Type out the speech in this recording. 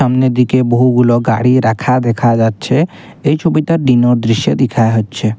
সামনের দিকে বহুগুলো গাড়ি রাখা দেখা যাচ্ছে এই ছবিটা দিনর দৃশ্যে দেখায়া হচ্ছে।